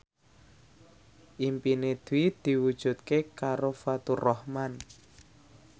impine Dwi diwujudke karo Faturrahman